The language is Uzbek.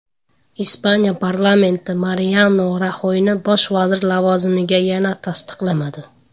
Ispaniya parlamenti Mariano Raxoyni bosh vazir lavozimiga yana tasdiqlamadi.